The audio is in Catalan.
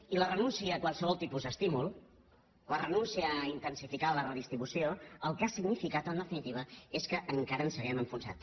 i la renúncia a qualsevol tipus d’estímul la renuncia a intensificar la redistribució el que ha significat en definitiva és que encara ens hàgim enfonsat